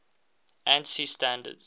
ansi standards